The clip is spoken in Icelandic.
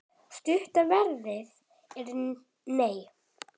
Stutta svarið er: nei.